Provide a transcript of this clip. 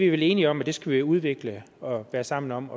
er enige om at vi skal udvikle og være sammen om